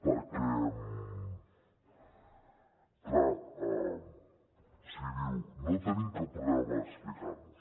perquè clar si diu no tenim cap problema per explicar nos